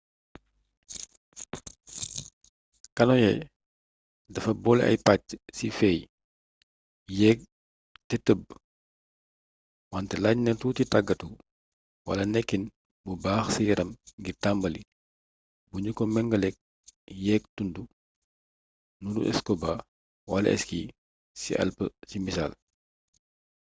kanoye dafa boole ay pàcc ci féey yéeg te tëb- wante laaj na tuuti tàggatu wala nekkin bu baax ci yaram ngir tàmbali bu nu ko mengaleek yéeg tund nuuru scuba wala ski ci alpë ci misaal